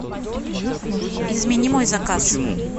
измени мой заказ